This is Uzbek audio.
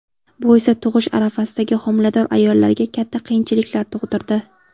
Bu esa tug‘ish arafasidagi homilador ayollarga katta qiyinchiliklar tug‘dirdi.